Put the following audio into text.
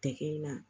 Tɛgɛ in na